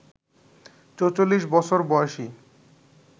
৪৪ বছর বয়সী